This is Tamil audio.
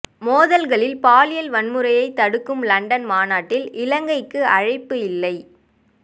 மோதல்களில் பாலியல் வன்முறையைத் தடுக்கும் லண்டன் மாநாட்டில் இலங்கைக்கு அழைப்பு இல்லை